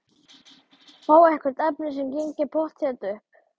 Fá eitthvert efni sem gengi pottþétt upp.